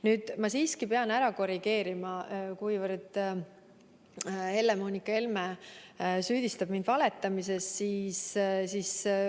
Nüüd, ma siiski pean üht-teist korrigeerima, kuivõrd Helle-Moonika Helme süüdistab mind valetamises.